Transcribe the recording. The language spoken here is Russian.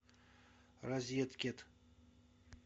розеткед